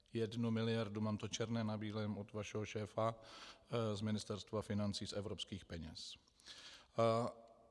Jednu miliardu, mám to černé na bílém od vašeho šéfa z Ministerstva financí, z evropských peněz.